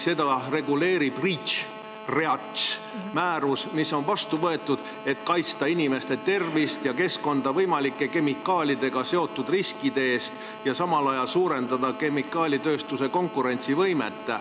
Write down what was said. Seda reguleerib REACH-määrus, mis on vastu võetud, et kaitsta inimeste tervist ja keskkonda kemikaalidega seotud võimalike riskide eest ja samal ajal suurendada kemikaalitööstuse konkurentsivõimet.